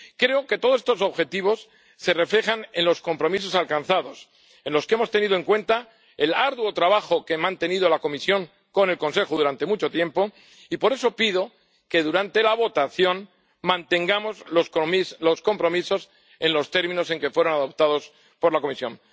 Creo que todos estos objetivos se reflejan en los compromisos alcanzados, en los que hemos tenido en cuenta el arduo trabajo que ha mantenido la Comisión con el Consejo durante mucho tiempo, y por eso pido que durante la votación mantengamos los compromisos en los términos en que fueron adoptados por la Comisión.